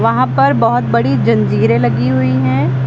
यहां पर बहोत बड़ी जंजीरें लगी हुई है।